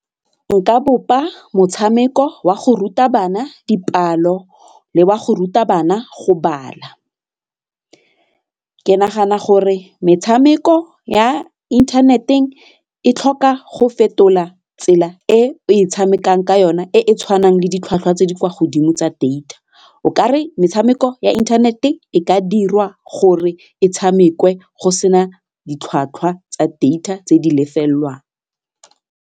nka bopa motshameko wa go ruta bana dipalo le wa go ruta bana go bala, ke nagana gore metshameko ya inthaneteng e tlhoka go fetola tsela e o e tshamekang ka yona e e tshwanang le ditlhwatlhwa tse di kwa godimo tsa data, o kare metshameko ya internet-e e ka dirwa gore e tshamekiwe go sena ditlhwatlhwa tsa data tse di lefelelwang.